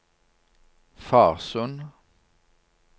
Farsund